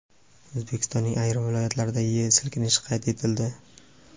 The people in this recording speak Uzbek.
O‘zbekistonning ayrim viloyatlarida yer silkinishi qayd etildi.